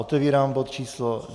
Otevírám bod číslo